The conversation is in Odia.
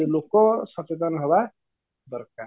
ଲୋକ ସଚେତନ ହବା ଦରକାର